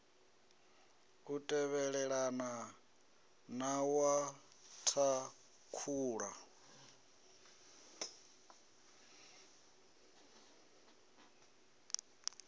u tevhelelana na wa thakhula